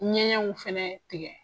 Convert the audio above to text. Ɲɛgɛnw fɛnɛ tigɛ.